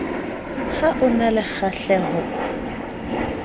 ha a na le kgahleho